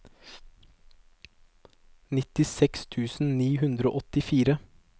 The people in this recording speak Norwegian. nittiseks tusen ni hundre og åttifire